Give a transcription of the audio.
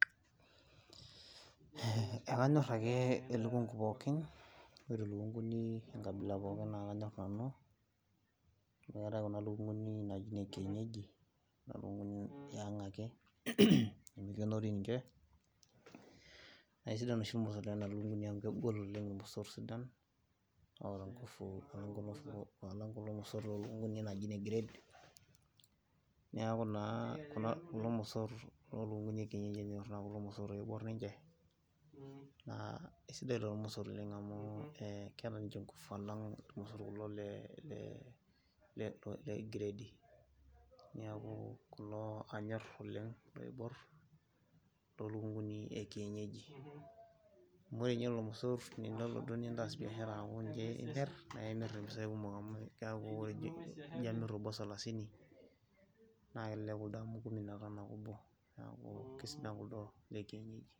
Ekanyorr ake elukungu pookin ore likunguni enkabila pookin naa kanya nanu. Amu eetae kuna likunguni naaji ine kienyeji [c's]. Naa lukunguni yiang' ake, nemikenori ninche. Naa kisidan oshi nena lukunguni amu kegol oleng' irmosorr sidan oota ngufu alang kulo mosorr loo lukunguni naaji ine grade. Niaku naa kulo mosorr loo lukunguni e kienyeji enyorri amu irmosorr oiborr ninche, naa isidai lelo mosorr oleng' amu, keeta ninche ngufu alang kulo le gredi. Niaku kulo anyorr oleng' oiborr loolukunguni e kienyeji. Amu ore ninye lelo mosorr indim nintaas biashara, aaku ninche imirr naa imirr impisai kumok amu kiaku ijo amirr obo salasini naa kelelek kuldo amu kumi na tano ake obo. Neaku kesidan kuldo le kienyeji.